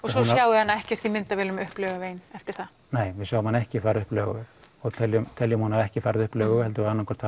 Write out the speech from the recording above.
við hana ekkert í myndavélum upp Laugaveginn eftir það nei við sjáum hana ekki fara upp Laugaveg og teljum teljum að hún hafi ekki farið upp Laugaveg heldur annað hvort